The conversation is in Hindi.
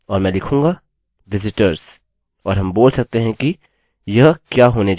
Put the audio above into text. और मैं लिखूँगा visitors और हम बोल सकते हैं कि यह क्या होने जा रहा है